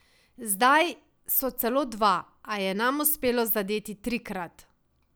Zdaj so celo dva, a je nam uspelo zadeti trikrat.